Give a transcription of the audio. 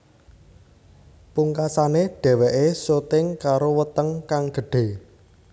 Pungkasané dheweké syuting karo weteng kang gedhe